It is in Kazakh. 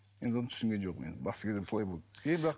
енді оны түсінген жоқпын енді бас кезінде солай болды